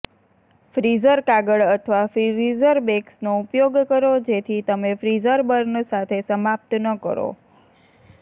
freezer કાગળ અથવા freezer બેગ્સનો ઉપયોગ કરો જેથી તમે ફ્રિઝર બર્ન સાથે સમાપ્ત ન કરો